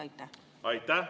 Aitäh!